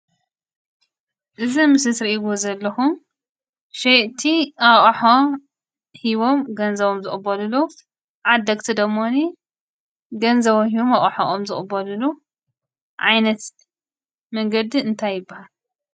እዚ አብ ምስሊ ትሪእዎ ዘለኩም ሸየጥቲ አቁሑ ሂቦም ገንዘቦም ዝቅበልሉ ዓደግቲ ደሞኒ ገንዘቦም ሂቦም አቁሑ ዝቅበልሉ ዓይነት መንገዲ እንታይ ይበሃል?